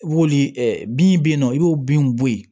I b'olu ɛ bin bɛ yen nɔ i b'o bin bɔ yen